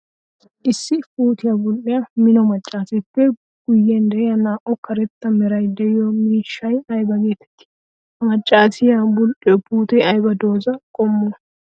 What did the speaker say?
Issi puutiyaa bul'iyaa mino maccarippe guyen de'iyaa naa'u karetta meray de'iyo miishshay aybaa geetetti? Ha maccasiyaa bul'iyo puute ayba dooza qommo?